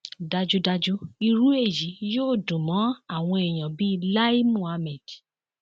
dájúdájú irú èyí yóò dùn mọ àwọn èyàn bíi lai muhammed